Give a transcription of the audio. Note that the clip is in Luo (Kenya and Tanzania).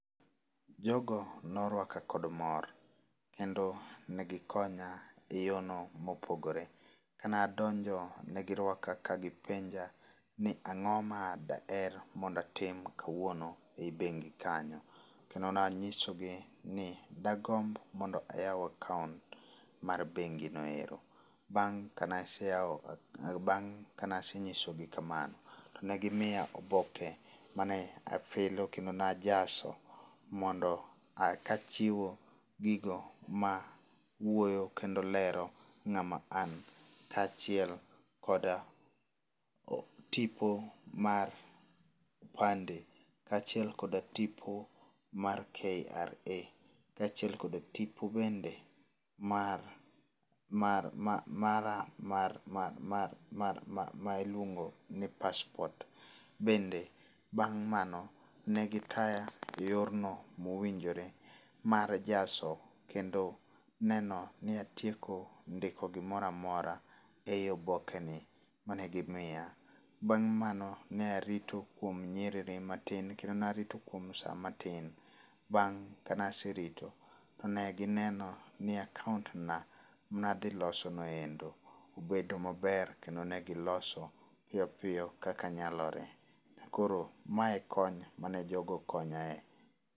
Jogo norwaka kod mor. Kendo negikonya e yo no mopogore. Kanadonjo negirwaka kagipenja ni ang'o ma daher mondo atim kawuono eyi bengi kanyo. Kendo nanyisogi ni dagomb mondo ayaw akount mar bengi no hero. Bang' kane asenyisogi kamano, to negimiya oboke mane afilo kendo ne ajaso mondo kachiwo gigo ma wuoyo kendo lero ng'ama an kachiel kod tipo mar opande kachiel kod tipo mar KRA. Kachiel kod tipo bende mara ma iluongo ni passport. Bende bang' mano negitaya e yor no mowinjore mar jaso kendo neno ni atieko ndiko gimoro amora eyi oboke ni mane gimiya. Bang' mano ne arito kuom nyerere matin kendo ne arito kuom sa matin. Bang' kane aserito to ne gi neno ni akount na nadhiloso no endo obedo maber kendo ne giloso piyo piyo kaka nyalore. Koro ma e kony mane jogo okonyae.